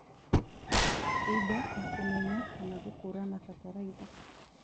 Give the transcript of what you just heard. Indo na kũmenya kana gũkũrana bataraitha